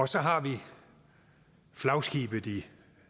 så har vi flagskibet i